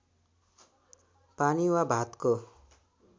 पानी वा भातको